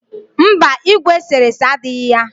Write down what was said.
Mba, igwe eserese dighi ya.